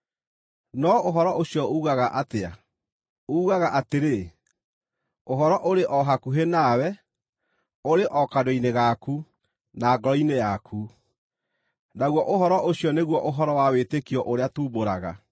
No ũhoro ũcio uugaga atĩa? Uugaga atĩrĩ, “Ũhoro ũrĩ o hakuhĩ nawe; ũrĩ o kanua-inĩ gaku, na ngoro-inĩ yaku,” naguo ũhoro ũcio nĩguo ũhoro wa wĩtĩkio ũrĩa tumbũraga: